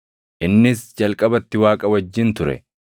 Innis jalqabatti Waaqa wajjin ture.